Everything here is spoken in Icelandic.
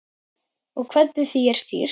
Og hvernig því er stýrt.